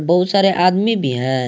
बहुत सारे आदमी भी हैं।